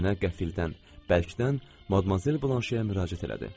Nənə qəfildən, bərkdən Madmazel Blanşeyə müraciət elədi.